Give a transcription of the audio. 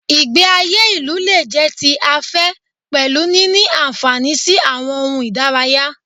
Ìgbé ayé ìlú lè jẹ́ ti afẹ́ pẹ̀lú níní àǹfààní sí àwọn ohun ìdárayá.